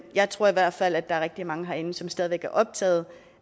jeg tror i hvert fald at der er rigtig mange herinde som stadig væk er optaget